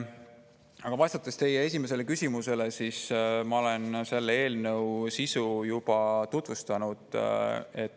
" Aga vastates teie esimesele küsimusele, ütlen, et ma olen selle eelnõu sisu juba tutvustanud.